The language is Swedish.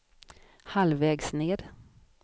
halvvägs ned